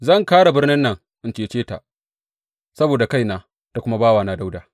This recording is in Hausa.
Zan kāre birnin nan in cece ta, saboda kaina da kuma bawana Dawuda.